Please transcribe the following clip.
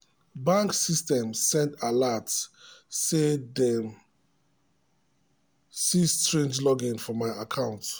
bank system send alert um say say dem see strange login for my account.